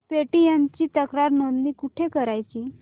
Paytm ची तक्रार नोंदणी कुठे करायची